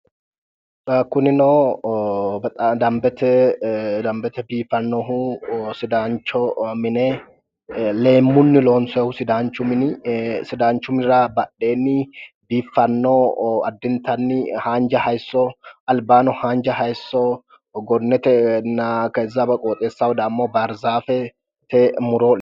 kunino ee danbete biifannohu ee sidaancho mine leemmunni loonsoonnihu sidaanchu mini sidaanchu minira badheenni biiffanno addintanni haanja hayiisso gonnetenna keza beqooxeessaho dagmo barzaafete muro leeltanno